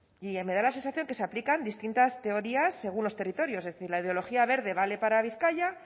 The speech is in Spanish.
y me da la sensación que se aplican distintas teorías según los territorios es decir la ideología verde vale para vizcaya